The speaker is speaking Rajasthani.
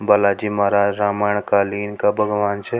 बालाजी महाराज रामायण कालीन का भगवान छ।